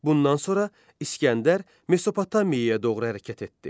Bundan sonra İsgəndər Mesopotamiyaya doğru hərəkət etdi.